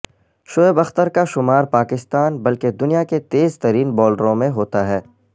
شعیب اختر کا شمار پاکستان بلکہ دنیا کے تیز ترین بولروں میں ہوتا ہے